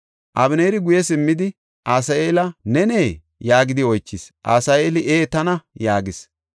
Abeneeri guye simmidi, “Asaheela, nenee?” yaagidi oychis. Asaheeli, “Ee tana” yaagis.